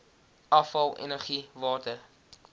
afval energie water